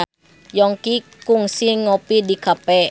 Yongki kungsi ngopi di cafe